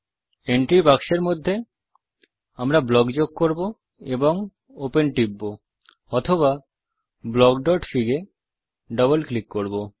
entry বাক্সের মধ্যে আমরা ব্লক যোগ করব এবং ওপেন টিপব অথবা blockfig এ ডবল ক্লিক করব